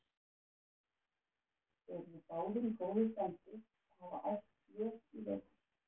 Þeir eru báðir í góðu standi og hafa æft vel í vetur.